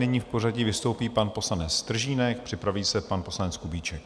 Nyní v pořadí vystoupí pan poslanec Stržínek, připraví se pan poslanec Kubíček.